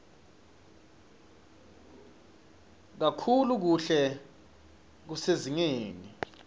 kakhulu kuhle kusezingeni